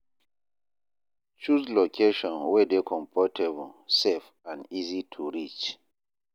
Choose location wey dey comfortable, safe, and easy to reach.